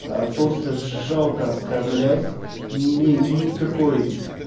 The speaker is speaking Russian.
просто жалко оскорблять не имея никакой